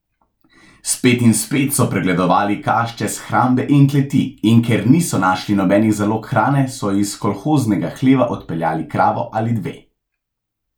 Spet in spet so pregledovali kašče, shrambe in kleti, in ker niso našli nobenih zalog hrane, so iz kolhoznega hleva odpeljali kravo ali dve.